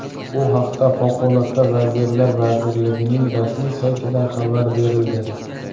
Bu haqda Favqulodda vaziyatlar vazirligining rasmiy saytida xabar berildi .